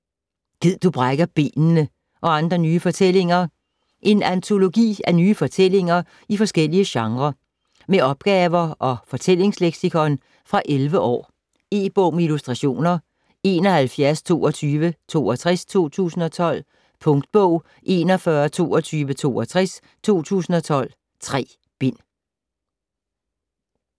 Gid du brækker benene! - og andre nye fortællinger En antologi af nye fortællinger i forskellige genrer. Med opgaver og fortællingsleksikon. Fra 11 år. E-bog med illustrationer 712262 2012. Punktbog 412262 2012. 3 bind.